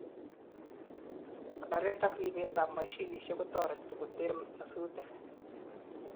konoret ak ripet an mashinisiek kotoreti koter nyasutik